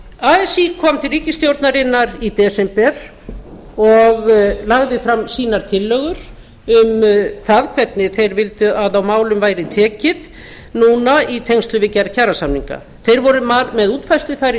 así kom til ríkisstjórnarinnar í desember og lagði fram sínar tillögur um það hvernig þeir vildu að á málum ætli tekið núna í tengslum við gerð kjarasamninga þeir voru með útfærslu þar í